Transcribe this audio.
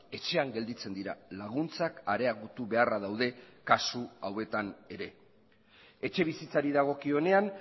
etxean gelditzen dira laguntzak areagotu beharra daude kasu hauetan ere etxebizitzari dagokionean